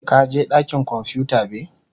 ka je dakin kwamfuta be?